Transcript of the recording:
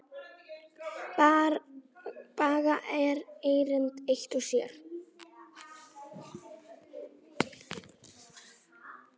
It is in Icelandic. Baga erindi eitt og sér.